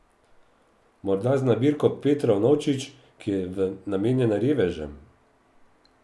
Morda z nabirko Petrov novčič, ki je namenjena revežem?